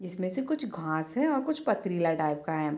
जिसमे से कुछ घास है और कुछ पथरीला टाइप का है।